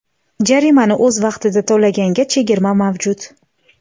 Jarimani o‘z vaqtida to‘laganga chegirma mavjud.